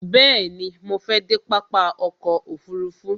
Bẹ̀ẹ̀ni, mo fẹ dé pápá ọkò òfurufú.